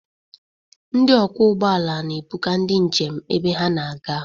Ndị ọkwọ ụgbọala na-ebuga ndi njem ebe ha na-aga.